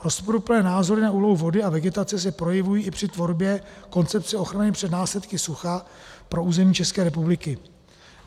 Rozporuplné názory na úlohu vody a vegetace se projevují i při tvorbě koncepce ochrany před následky sucha pro území České republiky.